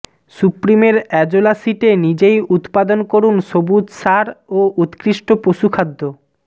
সুপ্রিমের azolla শিটে নিজেই উৎপাদন করুন সবুজ সার ও উৎকৃষ্ট পশুখাদ্য